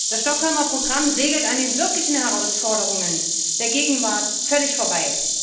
Das Stockholmer Programm segelt an den wirklichen Herausforderungen der Gegenwart völlig vorbei.